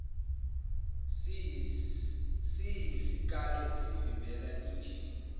siyisikalo esivimbela injini